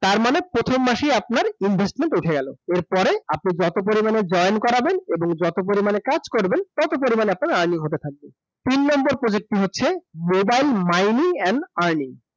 তার মানে প্রথম মাসেই আপনার investment উঠে গেল । এরপরে, আপনি যত পরিমাণে join করাবেন এবং যত পরিমাণে কাজ করবেন, তত পরিমাণে আপনার earning হতে থাকবে । তিন number project টা হচ্ছে, mobile mining and earning